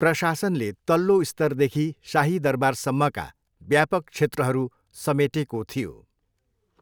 प्रशासनले तल्लो स्तरदेखि शाही दरबारसम्मका व्यापक क्षेत्रहरू समेटेको थियो।